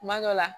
Kuma dɔ la